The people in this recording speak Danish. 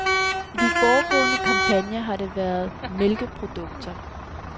I de foregående kampagner har det været mælkeprodukter.